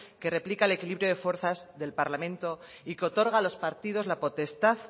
que replica el equilibrio de fuerzas del parlamento y que otorga a los partidos la potestad